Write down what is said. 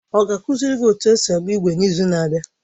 Ọ ga-akụziri gị otú esi agba ígwè n’izu na-abịa.